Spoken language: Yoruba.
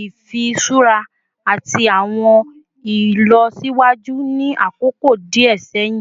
ifiṣura ati awọn ilọsiwaju ni akoko diẹ sẹhin